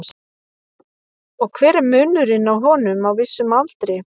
og hver er munurinn á honum á vissum aldri